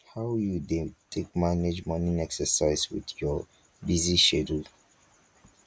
how you dey take manage morning exercise with your busy schedule